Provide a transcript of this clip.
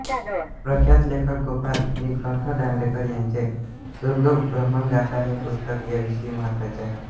प्रख्यात लेखक गोपाल नीलकंठ दांडेकर यांचे दुर्गभ्रमण गाथा हे पुस्तक या विषयी महत्त्वाचे आहे